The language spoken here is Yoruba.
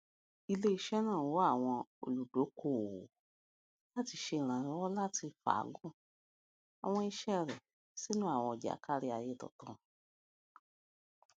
ileiṣẹ naa n wa awọn oludokoowo lati ṣe iranlọwọ lati faagun awọn iṣẹ rẹ sinu awọn ọja kariaye tuntun